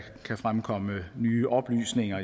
kan fremkomme nye oplysninger